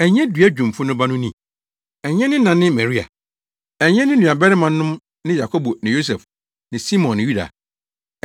Ɛnyɛ dua dwumfo no ba no ni? Ɛnyɛ ne na ne Maria? Ɛnyɛ ne nua barimanom ne Yakobo ne Yosef ne Simon ne Yuda?